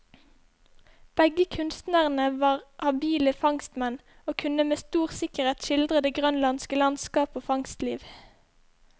Begge kunstnerne var habile fangstmenn, og kunne med stor sikkerhet skildre det grønlandske landskap og fangstliv.